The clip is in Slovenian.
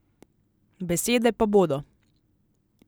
Besede pa bodo.